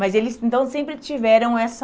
Mas eles então sempre tiveram essa...